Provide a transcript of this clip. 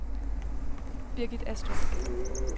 Birgit Astrup